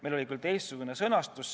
Meil oli seal küll teistsugune sõnastus.